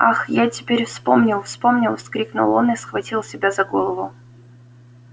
ах я теперь вспомнил вспомнил вскрикнул он и схватил себя за голову